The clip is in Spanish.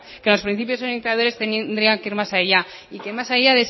que los principios indicadores tendrían que ir más allá y que más allá